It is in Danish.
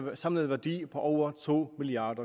samlet værdi af over to milliard